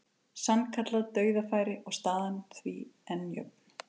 Sannkallað dauðafæri og staðan því enn jöfn.